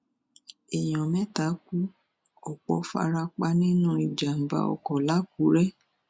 èèyàn mẹta kú ọpọ fara pa nínú ìjàmàbá ọkọ làkúrẹ